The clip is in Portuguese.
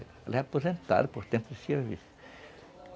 Ela é aposentada por dentro de serviço.